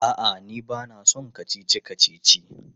A'a, ni ba na son kacici-kacici.